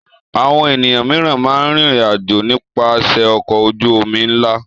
Àwọn ènìyàn mìíràn máa ń rìnrìn-àjò nípasẹ̀ ọkọ̀ ojú-omi ńlá.